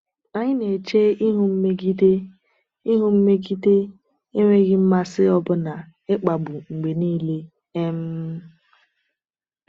Anyị na-eche ihu mmegide, ihu mmegide, enweghị mmasị, ọbụna ịkpagbu, mgbe niile. um